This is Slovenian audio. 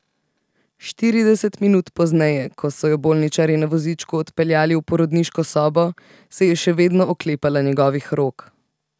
Štirideset minut pozneje, ko so jo bolničarji na vozičku odpeljali v porodniško sobo, se je še vedno oklepala njegovih rok.